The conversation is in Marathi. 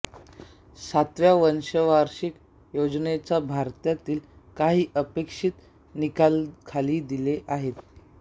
सातव्या पंचवार्षिक योजनेच्या भारतातील काही अपेक्षित निकाल खाली दिले आहेत